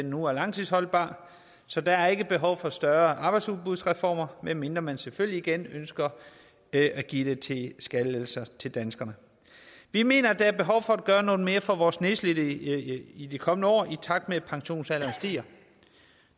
nu er langtidsholdbar så der er ikke behov for større arbejdsudbudsreformer medmindre man selvfølgelig igen ønsker at give skattelettelser til danskerne vi mener at der er behov for at gøre noget mere for vores nedslidte i de kommende år i takt med at pensionsalderen stiger